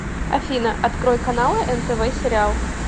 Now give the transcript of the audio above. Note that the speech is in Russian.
афина открой каналы нтв сериал